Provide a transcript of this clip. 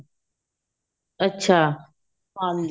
ਅੱਛਾ ਹਾਂਜੀ